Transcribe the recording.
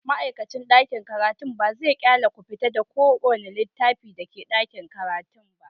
Ma'aikacin ɗakin karatu ba zai ƙyale ku fita da kowane littafi na ɗakin karatu ba.